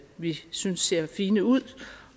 vi synes ser fine ud og